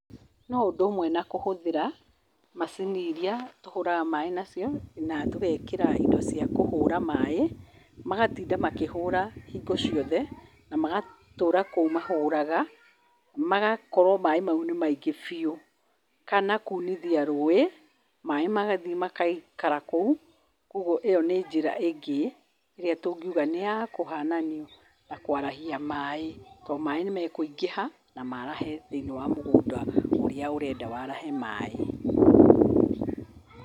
Noũndũ ũmwe na kũhũthĩra macini iria tũhũraga maĩ nacio na tũgekĩra indo cia kũhũra maĩ , magatinda makĩhũra hingo cio the na magatũũra kũu mahũraga magakorwo maĩ macio nĩmaingĩ biũ. Kana kunithia rũĩ maĩ maga magaikara kũu, kwogwo ĩo nĩnjĩra ĩngĩ ĩrĩa tũngiuga nũyakũhanania na kwarahia maĩ, tondũ maĩ nĩmakũingĩha na marahe thĩiniĩ wa mũgũnda ũrĩa ũrenda warahe maĩ.